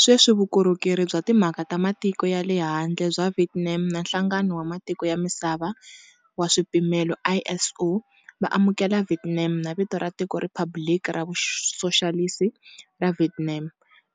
Sweswi, Vukorhokeri bya Timhaka ta Matiko ya le Handle bya Vietnam na Nhlangano wa Matiko ya Misava wa Swipimelo ISO, va amukela"Viet Nam" na vito ra tiko"riphabliki ra Vusoxalisi ra Viet Nam"